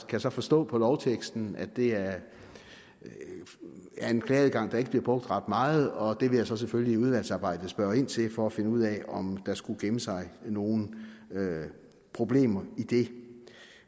kan så forstå på lovteksten at det er en klageadgang der ikke bliver brugt ret meget og det vil jeg selvfølgelig så i udvalgsarbejdet spørge ind til for at finde ud af om der skulle gemme sig nogle problemer i det